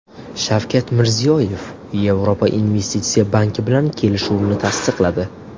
Shavkat Mirziyoyev Yevropa investitsiya banki bilan kelishuvni tasdiqladi.